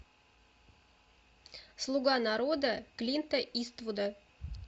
слуга народа клинта иствуда